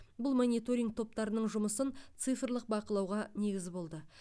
бұл мониторинг топтарының жұмысын цифрлық бақылауға негіз болды